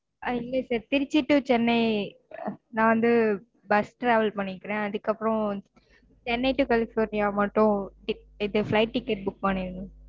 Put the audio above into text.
ஆஹ் இல்லங்க sir Trichy to Chennai நான் வந்து bus travel பண்ணிக்குறன் அதுக்கு அப்புறம் சென்னை to கலிஃபொர்னியா மட்டும் இது flight ticket book பண்ணிடுங்க.